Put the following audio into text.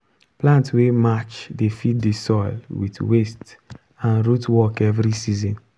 plant wey match dey feed the soil with waste and root work every season.